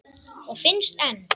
Og finnst enn.